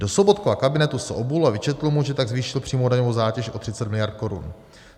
Do Sobotkova kabinetu se obul a vyčetl mu, že tak zvýšil přímou daňovou zátěž o 30 miliard korun.